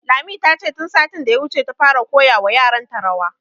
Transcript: Lami, ta ce tun satin da ya wuce ta fara koya wa yaran ta rawa